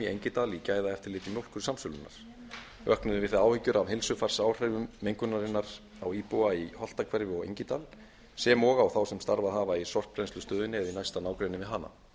engidal í gæðaeftirliti mjólkursamsölunnar vöknuðu við það áhyggjur að heilsufarsáhrifum mengunarinnar á íbúa í holtahverfi og engidal sem og á þá sem starfað hafa í sorpbrennslustöðinni eða í næsta nágrenni við hana